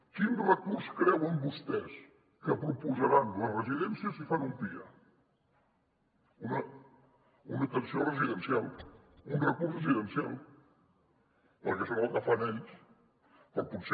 quin recurs creuen vostès que proposaran les residències si fan un pia una atenció residencial un recurs residencial perquè és el que fan ells